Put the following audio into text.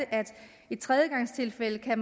er